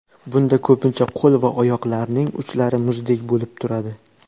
Bunda ko‘pincha qo‘l va oyoqlarning uchlari muzdek bo‘lib turadi.